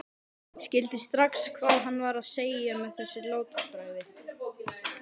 Skildi strax hvað hann var að segja með þessu látbragði.